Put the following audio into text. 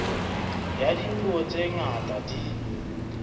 ya dipuo tse ngata di